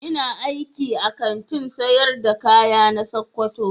Ina aiki a Kantin sayar da kaya na sokoto.